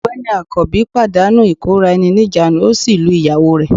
Ọ̀gbẹ́ni akanbi pàdánù ìkóra-ẹni-níjàánu, ó sì lu ìyàwó rẹ̀